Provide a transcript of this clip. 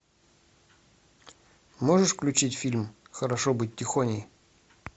можешь включить фильм хорошо быть тихоней